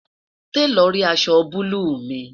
talo rí aṣọ bulu mi?